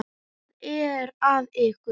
Hvað er að ykkur?